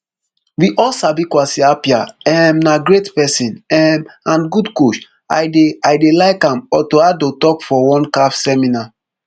we all sabi kwasi appiah um na great pesin um and good coach i dey i dey like am otto addo tok for one caf seminar